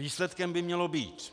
Výsledkem by měla být